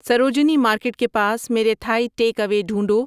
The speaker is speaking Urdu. سروجنی مارکیٹ کے پاس میرے تھائ ٹیک اوے ڈھونڈو